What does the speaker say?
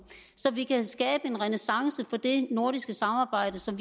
så vi kan skabe en renæssance for det nordiske samarbejde som